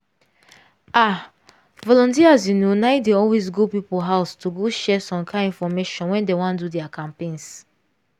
ah! volunteers you know na dey always go people house to go share some kind infomation when dey wan do their campaigns.